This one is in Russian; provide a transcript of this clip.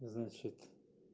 значит